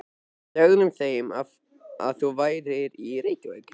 Við sögðum þeim að þú værir í Reykjavík.